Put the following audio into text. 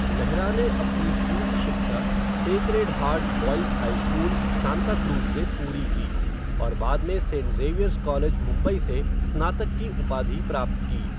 मेहरा ने अपनी स्कूली शिक्षा sacred heart boys high school, Santacruz से पूरी की, और बाद में सेंट ज़ेवियर्स कॉलेज, मुंबई से स्नातक की उपाधि प्राप्त की।